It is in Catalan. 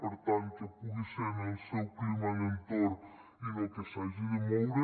per tant que pugui ser en el seu clima d’entorn i no que s’hagi de moure